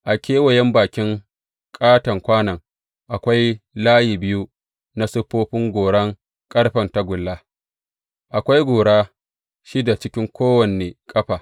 A kewayen bakin ƙaton kwanon akwai layi biyu na siffofin goran ƙarfen tagulla, akwai gora shida cikin kowane ƙafa.